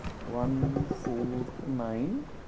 One four nine